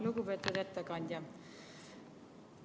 Lugupeetud ettekandja!